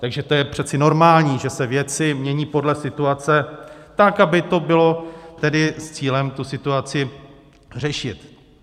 Takže to je přece normální, že se věci mění podle situace, tak aby to bylo tedy s cílem tu situaci řešit.